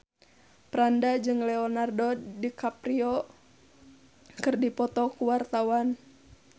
Franda jeung Leonardo DiCaprio keur dipoto ku wartawan